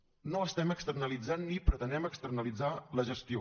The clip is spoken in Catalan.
no estem externalitzant ni pretenem externalitzar la gestió